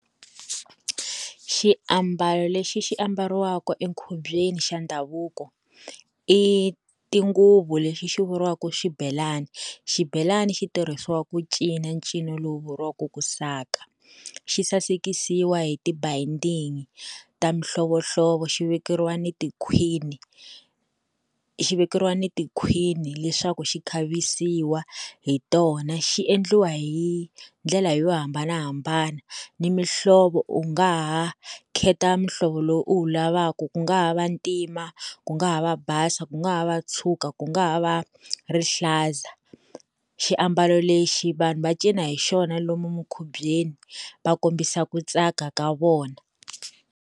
Xiambalo lexi xi ambariwaka enkhubyeni xa ndhavuko i tinguvu lexi xi vuriwaka xibelani xibelani xi tirhisiwa ku cinca ncino lowu vuriwaka ku saka xi sasekisiwa hi tibayindingi ta mihlovohlovo xi vekeriwa ni tikhwini xi vekeriwa ni tikhwini leswaku xi khavisiwa hi tona xi endliwa hi ndlela yo hambanahambana ni mihlovo u nga ha khetha muhlovo lowu u wu lavaka ku nga ha va ntima ku nga ha va basa ku nga ha va tshuka ku nga ha va rihlaza xiambalo lexi vanhu va cina hi xona lomu mikhubyeni va kombisa ku tsaka ka vona.